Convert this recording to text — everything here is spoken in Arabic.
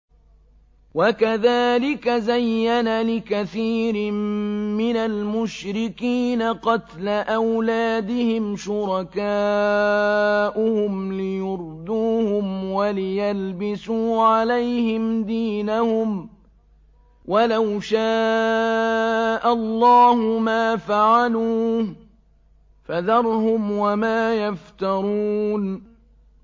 وَكَذَٰلِكَ زَيَّنَ لِكَثِيرٍ مِّنَ الْمُشْرِكِينَ قَتْلَ أَوْلَادِهِمْ شُرَكَاؤُهُمْ لِيُرْدُوهُمْ وَلِيَلْبِسُوا عَلَيْهِمْ دِينَهُمْ ۖ وَلَوْ شَاءَ اللَّهُ مَا فَعَلُوهُ ۖ فَذَرْهُمْ وَمَا يَفْتَرُونَ